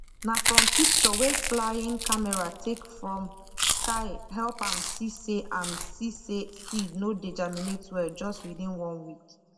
na from picture wey flying camera take from sky help am see say am see say seed no dey germinate well just within one week